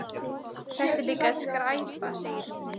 Þetta er líka skræpa segir hún.